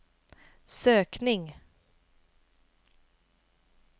sökning